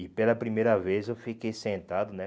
E pela primeira vez eu fiquei sentado, né?